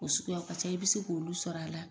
O suguya ka ca i bɛ se k'olu sɔr'a la